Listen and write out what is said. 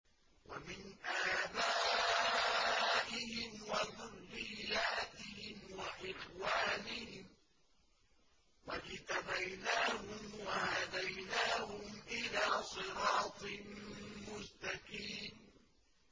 وَمِنْ آبَائِهِمْ وَذُرِّيَّاتِهِمْ وَإِخْوَانِهِمْ ۖ وَاجْتَبَيْنَاهُمْ وَهَدَيْنَاهُمْ إِلَىٰ صِرَاطٍ مُّسْتَقِيمٍ